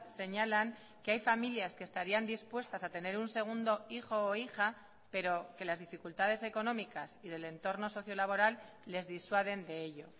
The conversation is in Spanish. señalan que hay familias que estarían dispuestas a tener un segundo hijo o hija pero que las dificultades económicas y del entorno socio laboral les disuaden de ello